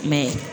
Mɛ